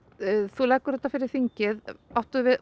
þú leggur þetta fyrir þingið áttu